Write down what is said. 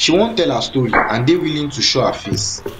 she wan tell her story and dey willing to willing to show her face